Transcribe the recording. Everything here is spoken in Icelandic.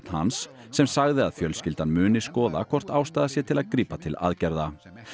hans sem sagði að fjölskyldan muni skoða hvort ástæða sé til að grípa til aðgerða